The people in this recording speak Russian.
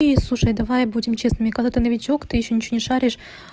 и слушай давай будем честными когда-то новичок ты ещё ничего не шаришь